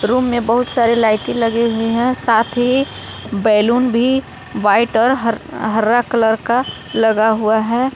Room में बहुत सारे लाइटे लगे हुए है साथ ही बैलून भी वाइट और हर हरा कलर लगा हुआ है।